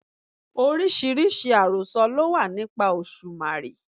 Oríṣiríṣi àròsọ ló wà nípa Òṣùmàrè.